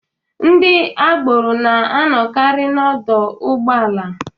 Ndị agboro na-anọkari n'ọdọ ụgbọala.